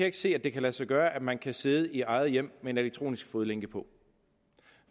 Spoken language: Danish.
ikke se at det kan lade sig gøre at man kan sidde i eget hjem med en elektronisk fodlænke på